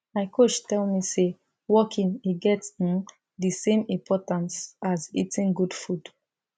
my coach tell me say walking e get um the same importance as eating good food